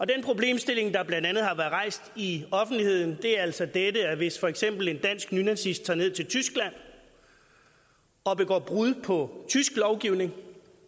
den problemstilling der blandt andet har været rejst i offentligheden er altså dette at hvis for eksempel en dansk nynazist tager ned til tyskland og begår brud på tysk lovgivning